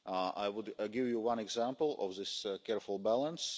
I would give you one example of this careful balance.